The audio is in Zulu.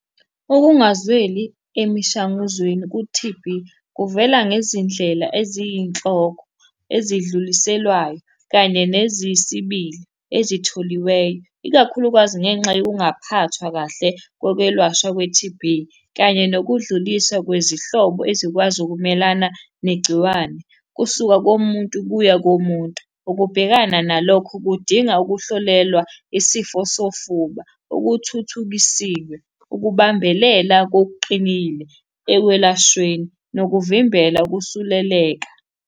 Ukungazweli emishanguzweni ku-T_B kuvela ngezindlela eziyinhloko, ezidluliselwayo, kanye neziyisibili ezitholiweyo, ikakhulukazi ngenxa yokungaphathwa kahle kokwelashwa kwe-T_B, kanye nokudluliswa kwezinhlobo ezikwazi ukumelana negciwane kusuka komuntu kuya komuntu. Ukubhekana nalokho kudinga ukuhlolelwa isifo sofuba okuthuthukisiwe, ukubambelela kokuqinile ekwelashweni, nokuvimbela ukusuleleka.